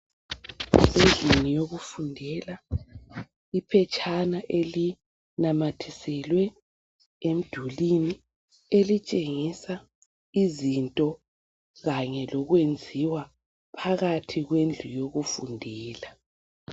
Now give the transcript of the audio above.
Kusendlini yokufundela. Iphetshana elimathiselwe emdulwini. Elitshengisa izinto, kanye lokwenziwa phakathi kwendlu yokufundela.